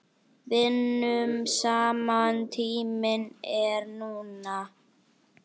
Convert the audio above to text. Vinnum saman Tíminn er núna.